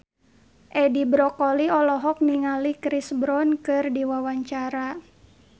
Edi Brokoli olohok ningali Chris Brown keur diwawancara